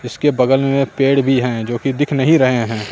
इसके बगल में पेड़ भी हैं जो कि दिख नहीं रहे हैं।